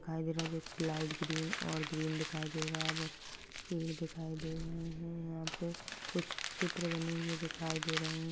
दिखाई दे रहा है जो लाइट ग्रीन और ग्रीन दिखाई दे रहा है पेड़ दिखाई दे रहे यहाँ पे कुछ चित्र बनी हुई दिखाई दे रहे है।